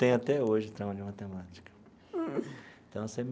Tenho até hoje trauma de matemática então.